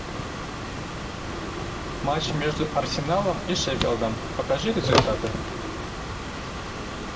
матч между арсеналом и шеффилдом покажи результаты